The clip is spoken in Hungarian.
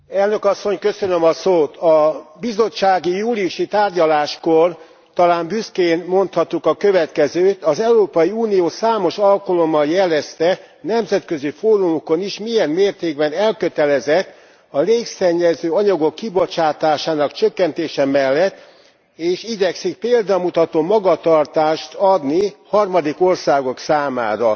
Elnök Asszony, a bizottsági júliusi tárgyaláskor talán büszkén mondhattuk a következőt az Európai Unió számos alkalommal jelezte nemzetközi fórumokon is milyen mértékben elkötelezett a légszennyező anyagok kibocsátásának csökkentése mellett, és igyekszik példamutató magatartást adni harmadik országok számára.